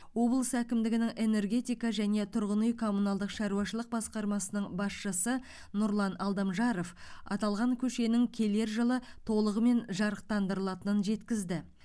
облыс әкімдігінің энергетика және тұрғын үй коммуналдық шаруашылық басқармасының басшысы нұрлан алдамжаров аталған көшенің келер жылы толығымен жарықтандырылатынын жеткізді